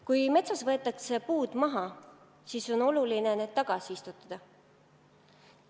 Kui metsas võetakse puud maha, siis on oluline uued asemele istutada.